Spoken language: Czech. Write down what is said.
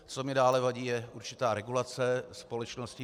Co mi dále vadí, je určitá regulace společnosti.